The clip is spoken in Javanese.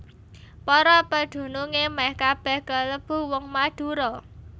Para pedunungé mèh kabèh kalebu wong Madura